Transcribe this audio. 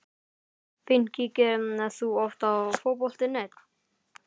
fínt Kíkir þú oft á Fótbolti.net?